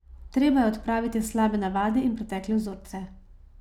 Treba je odpraviti slabe navade in pretekle vzorce.